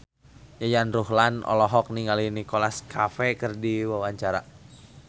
Yayan Ruhlan olohok ningali Nicholas Cafe keur diwawancara